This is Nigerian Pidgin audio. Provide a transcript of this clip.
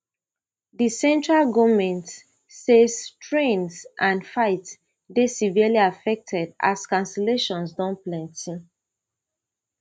di central goment say trains and flights dey severely affected as cancellations don plenty